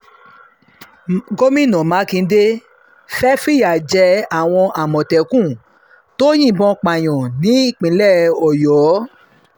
gomina makinde fẹ́ẹ́ fìyà jẹ àwọn àmọ̀tẹ́kùn tó yìnbọn pààyàn ní ìpínlẹ̀ ọ̀yọ́